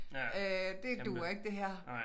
Øh det duer ikke det her